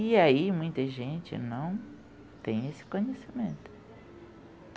E aí muita gente não tem esse conhecimento.